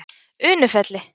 Unufelli